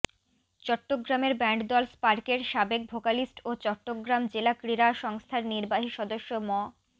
চট্টগ্রামের ব্যান্ডদল স্পার্কের সাবেক ভোকালিস্ট ও চট্টগ্রাম জেলা ক্রীড়া সংস্থার নির্বাহী সদস্য ম